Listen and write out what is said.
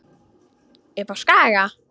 Upp á Skaga?